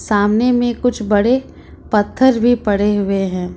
सामने में कुछ बड़े पत्थर भी पड़े हुए हैं।